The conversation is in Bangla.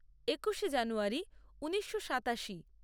একুশে জানুয়ারী ঊনিশো সাতাশি